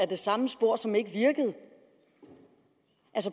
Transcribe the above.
det samme spor som ikke virkede